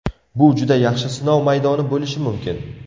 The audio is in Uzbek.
Bu juda yaxshi sinov maydoni bo‘lishi mumkin.